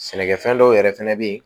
Sɛnɛkɛfɛn dɔw yɛrɛ fɛnɛ bɛ yen